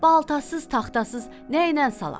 Baltasız, taxtasız nəynən salaq?